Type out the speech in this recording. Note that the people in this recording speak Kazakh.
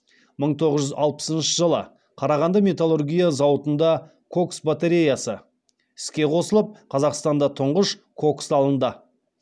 мың тоғыз жүз алпысыншы жылы қарағанды металлургия зауытында кокс батареясы іске қосылып қазақстанда тұңғыш кокс алынды